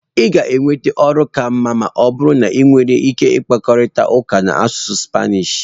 ị ga-enweta ọrụ ka mma ma ọ bụrụ na ị nwere ike ịkparịta ụka n'asụsụ Spanish